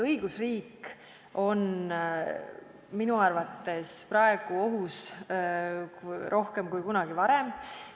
Õigusriik on minu arvates praegu ohus rohkem kui kunagi varem.